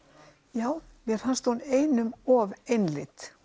já mér fannst hún einum of einlit